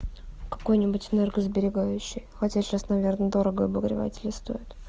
какой-нибудь энергосберегающий хотя сейчас наверное дорого обогреватели стоят